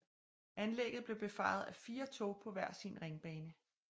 Anlægget blev befaret af fire tog på hver sin ringbane